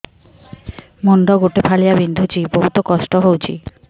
ମୁଣ୍ଡ ଗୋଟେ ଫାଳିଆ ବିନ୍ଧୁଚି ବହୁତ କଷ୍ଟ ହଉଚି